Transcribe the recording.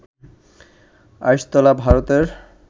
আইসতলা, ভারতের